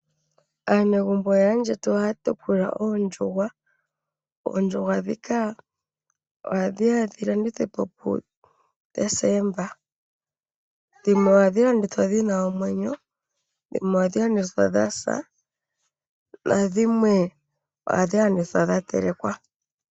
Aanegumbo yaayetu ohaya tekula oondjuhwa. Oondjuhwa ohadhi landithwa pu deseemba, dhimwe ohadhi landithwa dhina omwenyo, dhimwe ohadhi landithwa dhasa, nadhimwe ohadhi landithwa dha telekwa.